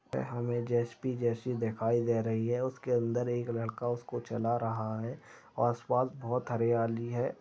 यहाँ पे हमें जे_सी_बी जैसी दिखाई दे रही है उसके अंदर एक लड़का उसको चला रहा है आसपास बहोत हरियाली है।